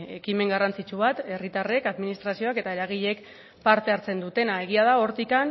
ekimen garrantzitsu bat herritarrek administrazioak eta eragileek parte hartzen dutena egia da hortik